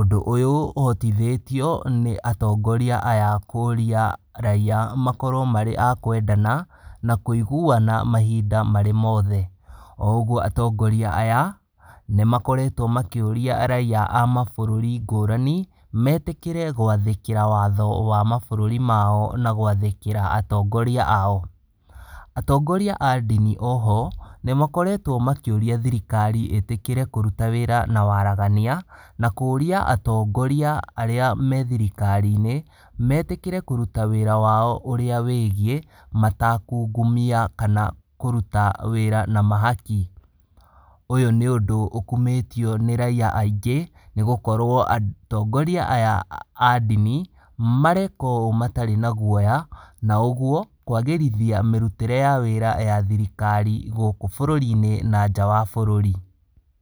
Ũndũ ũyũ ũhotithĩtio, nĩ atongoria aya kũria raiya makorwo marĩ a kwendana, na kũiguana mahinda marĩ mothe. O ũguo atongoria aya nĩmakoretwo makĩũria raiya a mabũrũri ngũrani, metĩkĩre gwathĩkĩra watho wa mabũrũri mao, na gwathĩkĩra atongoria ao. Atongoria a ndini o ho, nĩmakoretwo makĩũria thirikari ĩtĩkĩre kũruta wĩra na waragania, na kũria atongoria arĩa me thirikarinĩ, metĩkĩre kũruta wĩra wao ũrĩa wĩgiĩ matakungumia kana kũruta wĩra na mahũki. Ũyũ nĩ ũndũ ũkumĩtio nĩ raiya aingĩ, nĩgũkorwo atongoria aya a ndini, mareka ũũ matarĩ na guoya, na ũguo, kwagĩrithia mĩrutĩre ya wĩra ya thirikari gũkũ bũrũrinĩ na nja wa bũrũri.